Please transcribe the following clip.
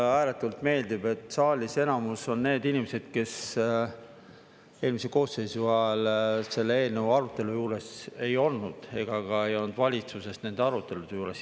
Mul ääretult meeldib, et saalis enamus on need inimesed, kes eelmise koosseisu ajal selle eelnõu arutelu juures ei olnud ega ka ei olnud valitsuses nende arutelude juures.